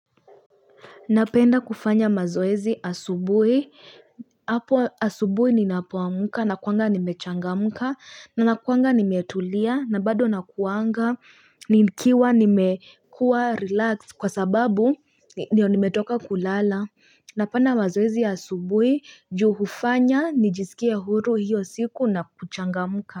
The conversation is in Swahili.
Napenda kufanya mazoezi asubui, hapo asubui ninapuamka na kuanga nimechanga muka na kuanga nimetulia na bado nakuanga nikiwa nimekua relax kwa sababu niyo nimetoka kulala Napenda mazoezi asubui juhufanya nijisikie huru hiyo siku na kuchanga muka.